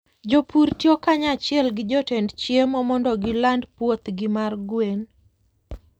Jopur tiyo kanyachiel gi joted chiemo mondo giland puothgi mar gwen.